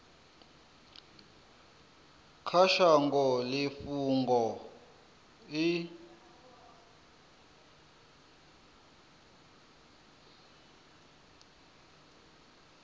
kha shango i fhungo i